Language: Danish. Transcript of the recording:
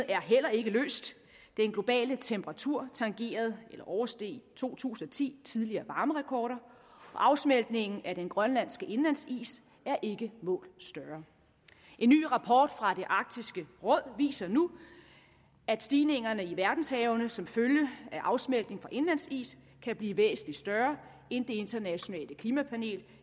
er heller ikke løst den globale temperatur tangerede eller oversteg i to tusind og ti tidligere varmerekorder og afsmeltningen af den grønlandske indlandsis er ikke målt større en ny rapport fra arktisk råd viser nu at stigningerne i verdenshavene som følge af afsmeltning fra indlandsis kan blive væsentlig større end det internationale klimapanel